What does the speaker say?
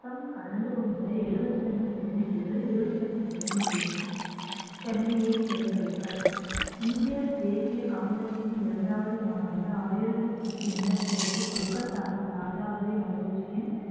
மொத்தம் கலந்து கொண்ட எழுபத்தி இரண்டு பிரதிநிதிகள் இருபத்தி இரண்டு பிரதிநிதிகளும் சென்னையை சேர்ந்தவர்கள் இந்திய தேசிய காங்கிரஸின் இரண்டாவது மாநாடு ஆயிரத்தி எட்நூத்தி எண்பத்தி ஆறில் கொல்கத்தாவில் தாதாபாய் நௌரோஜியின்